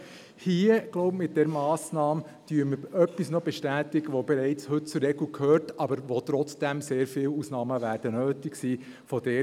Ich glaube, hier mit dieser Massnahme bestätigen wir noch etwas, das heute bereits zur Regel gehört, bei dem aber trotzdem sehr viele Ausnahmen nötig sein werden.